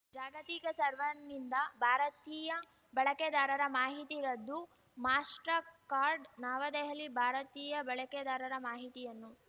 ಜಾಗತಿಕ ಸರ್ವರ್‌ನಿಂದ ಭಾರತೀಯ ಬಳಕೆದಾರರ ಮಾಹಿತಿ ರದ್ದು ಮಾಸ್ಟರ್‌ಕಾರ್ಡ್‌ ನವದೆಹಲಿ ಭಾರತೀಯ ಬಳಕೆದಾರರ ಮಾಹಿತಿಯನ್ನು